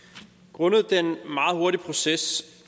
grundet den meget hurtige proces